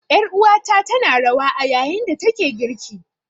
Ƴar uwata tana rawa a yayin da take girki.